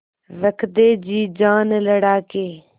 रख दे जी जान लड़ा के